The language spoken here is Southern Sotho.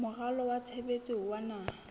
moralo wa tshebetso wa naha